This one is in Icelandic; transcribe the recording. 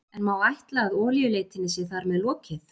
En má ætla að olíuleitinni sé þar með lokið?